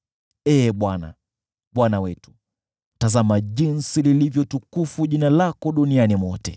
Ee Bwana , Bwana wetu, tazama jinsi lilivyo tukufu jina lako duniani mwote!